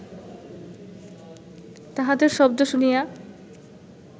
তাঁহাদের শব্দ শুনিয়া